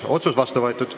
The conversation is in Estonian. Otsus on vastu võetud.